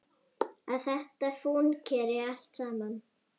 Að þetta fúnkeri allt saman.